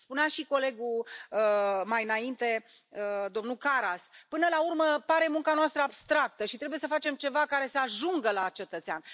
Spunea și colegul mai înainte, domnul Karas, că până la urmă munca noastră pare abstractă și trebuie să facem ceva care să ajungă la cetățean.